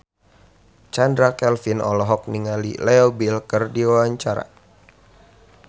Chand Kelvin olohok ningali Leo Bill keur diwawancara